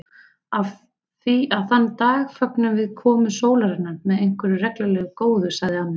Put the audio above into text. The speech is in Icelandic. Af því að þann dag fögnum við komu sólarinnar með einhverju reglulega góðu sagði amma.